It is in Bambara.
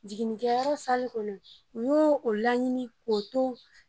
Jiginni kɛ yɔrɔ kɔnɔ n ye o laɲini ko to.